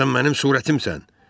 Sən mənim surətimsən.